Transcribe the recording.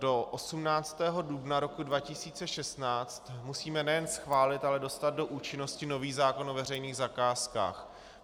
Do 18. dubna roku 2016 musíme nejen schválit, ale dostat do účinnosti nový zákon o veřejných zakázkách.